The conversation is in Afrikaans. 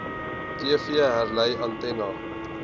tv herlei antenna